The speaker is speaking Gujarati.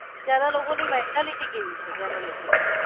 ત્યાં ની લોકો ને mentality કેવી છે ત્યાં ના લોકો ની.